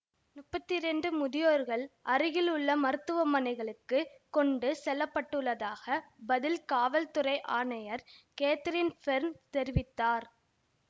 முப்பத்தி இரண்டு முதியோர்கள் அருகில் உள்ள மருத்துவமனைகளுக்குக் கொண்டு செல்லப்பட்டுள்ளதாக பதில் காவல்துறை ஆணையர் கேத்தரின் பேர்ன் தெரிவித்தார்